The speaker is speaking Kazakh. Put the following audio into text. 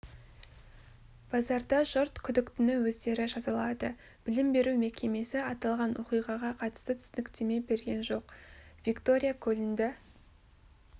базарда жұрт күдіктіні өздері жазалады білім беру мекемесі аталған оқиғаға қатысты түсініктеме берген жоқ виктория көлінді